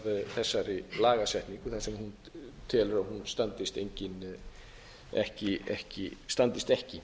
þessari lagasetningu þar sem hún telur að hún standist ekki